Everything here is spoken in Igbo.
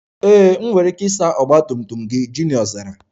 Ee, enwere m ike ịsa ọgba tum tum gị, Junior zara